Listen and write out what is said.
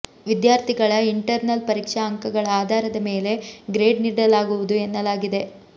ವಿದ್ಯಾರ್ಥಿಗಳ ಇಂಟರ್ನಲ್ ಪರೀಕ್ಷಾ ಅಂಕಗಳ ಆಧಾರದ ಮೇಲೆ ಗ್ರೇಡ್ ನೀಡಲಾಗುವುದು ಎನ್ನಲಾಗಿದೆ